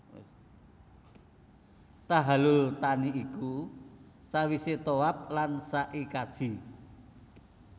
Tahallul thani iku sawisé tawaf lan sa i kaji